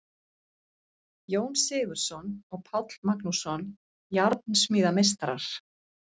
Jón Sigurðsson og Páll Magnússon, járnsmíðameistarar.